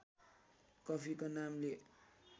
कफीको नामले